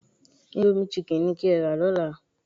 Íńdómì chicken ni kí ẹ́ rà lọ́la.